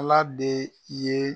Ala de ye